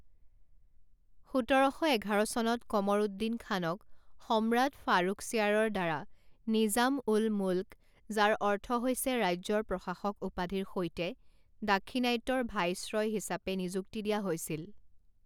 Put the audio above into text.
সোতৰ শ এঘাৰ চনত কমৰ উদ্দিন খানক সম্ৰাট ফাৰুখছিয়াৰৰ দ্বাৰা নিজাম উল মুল্‌ক যাৰ অৰ্থ হৈছে ৰাজ্যৰ প্ৰশাসক উপাধিৰ সৈতে দাক্ষিণাত্যৰ ভাইছৰয় হিচাপে নিযুক্তি দিয়া হৈছিল।